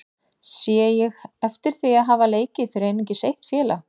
Sé ég heftir því að hafa leikið fyrir einungis eitt félag?